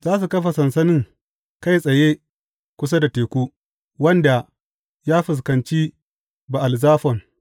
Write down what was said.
Za su kafa sansanin kai tsaye kusa da teku, wanda ya fuskanci Ba’al Zafon.